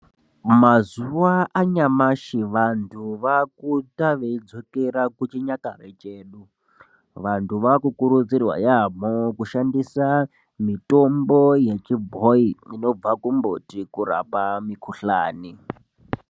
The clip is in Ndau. Mazuwa anyamashi vantu vaakuita veidzokera kuchinyakare chedu. Vantu vaakukurudzirwa yaamho kushandisa mitombo yachibhoyi inobva kumbuti kurapa mikuhlani.